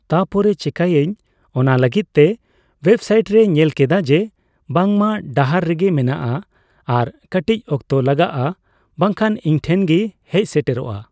ᱛᱟᱯᱚᱨᱮ ᱪᱮᱠᱟᱭᱟᱹᱧ ᱚᱱᱟᱞᱟᱹᱜᱤᱫ ᱛᱮ ᱳᱭᱮᱵ ᱥᱟᱭᱤᱴ ᱨᱮᱧ ᱧᱮᱞ ᱠᱮᱫᱟ ᱡᱮ ᱵᱟᱝᱢᱟ ᱰᱟᱦᱟᱨ ᱨᱮᱜᱤ ᱢᱮᱱᱟᱜ ᱟ ᱟᱨ ᱠᱟᱴᱤᱪ ᱚᱠᱛᱚ ᱞᱟᱜᱟᱜᱼᱟ ᱵᱟᱝᱠᱷᱟᱡ ᱤᱧᱴᱷᱮᱡ ᱜᱤ ᱦᱮᱡ ᱥᱮᱴᱮᱨᱚᱜᱼᱟ ᱾